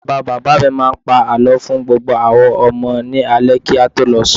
Bàbá bàbá mi máa ń pa àlọ́ fún gbogbo àwa ọmọ ilé ni alẹ́ alẹ́ kí a tó lọ sùn